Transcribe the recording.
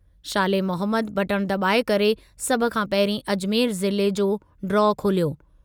शाले Mohammad button दॿाए करे सभु खां पहिरीं अजमेर ज़िले जो ड्रा खोलियो।